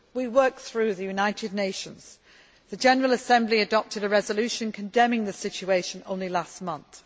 We work through the United Nations the General Assembly adopted a resolution condemning the situation only last month.